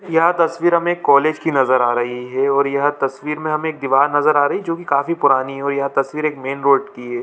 यह तस्वीर हमें कॉलेज की नजर आ रही है और यह तस्वीर में हमें एक दिवार नज़र आ रही है जो की काफी पुरानी है यह तस्वीर एक मैं रोड की है।